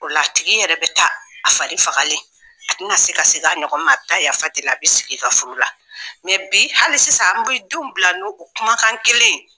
O la tigi yɛrɛ bɛ taa a fari fagalen, a tɛ na se ka segin a ɲɔgɔn ma, a bɛ ta yafa deli a bɛ sigi i ka furu la. bi hali sisan an bɛ denw bila n'o kumakan kelen ye.